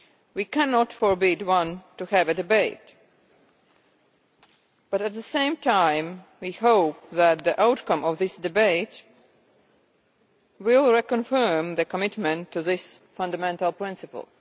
We cannot forbid anyone from having a debate, but, at the same time, we hope that the outcome of this debate will reconfirm the commitment to this fundamental principle.